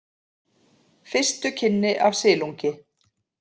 Fyrstu kynni af silungi